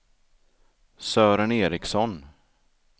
Sören Ericsson